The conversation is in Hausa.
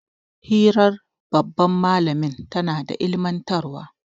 hirar babban malamin tana ilimantarwa